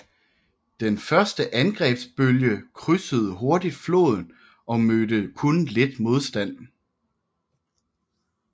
Den første angrebsbølge krydsede hurtigt floden og mødte kun lidt modstand